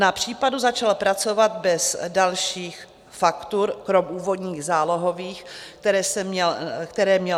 Na případu začal pracovat bez dalších faktur kromě úvodních zálohových, které následně nevystavoval.